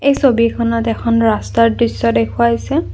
এই ছবিখনত এখন ৰাস্তাৰ দৃশ্য দেখুওৱা হৈছে।